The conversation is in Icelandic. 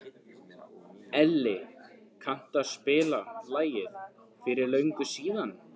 Elli, kanntu að spila lagið „Fyrir löngu síðan“?